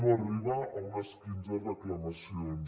no arriba a unes quinze reclamacions